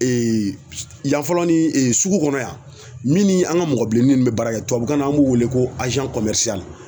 yan fɔlɔ ni sugu kɔnɔ yan min ni an ga mɔgɔ bilenni min bɛ baara kɛ tubabukan na an b'o wele ko